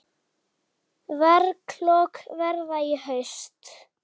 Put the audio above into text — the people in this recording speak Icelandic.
Verklok verða í haust.